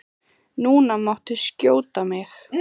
Það gilda ákveðin lögmál í lífi okkar.